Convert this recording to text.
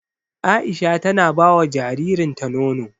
Aisha tana bawa jaririn ta nono